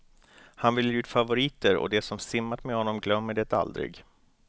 Han väljer ut favoriter, och de som simmat med honom glömmer det aldrig.